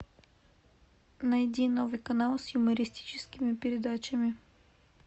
найди новый канал с юмористическими передачами